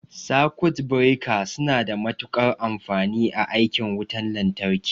Sakut bireka suna da matuƙar amfani a aikin wutan lantarki.